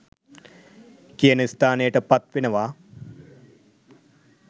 කියන ස්ථානයට පත් වෙනවා.